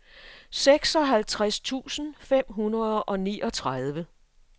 seksoghalvtreds tusind fem hundrede og niogtredive